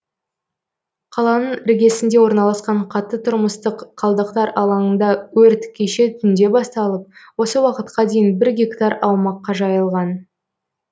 қаланың іргесінде орналасқан қатты тұрмыстық қалдықтар алаңында өрт кеше түнде басталып осы уақытқа дейін бір гектар аумаққа жайылған